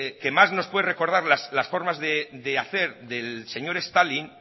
que más nos puede recordar las formas de hacer del señor stalin